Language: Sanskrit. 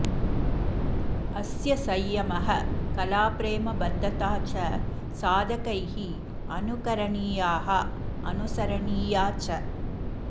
अस्य संयमः कलाप्रेम बद्धता च साधकैः अनुकरणियाः अनुसरणीया च